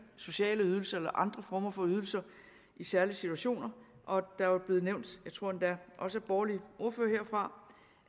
sociale ydelser eller andre former for ydelser i særlige situationer og der blev nævnt jeg tror endda også af borgerlige ordførere herfra